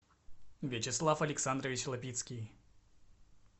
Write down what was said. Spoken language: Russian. вячеслав александрович лапицкий